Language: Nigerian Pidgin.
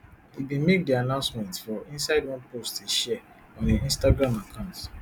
e bin make di announcement for inside one post e share on im instagram account